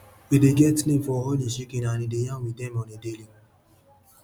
e dey get name for all hin chicken and e dey yarn with dem on a daily